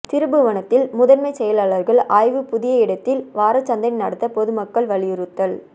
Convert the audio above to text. திருப்புவனத்தில் முதன்மை செயலாளர்கள் ஆய்வு புதிய இடத்தில் வாரச்சந்தை நடத்த பொதுமக்கள் வலியுறுத்தல்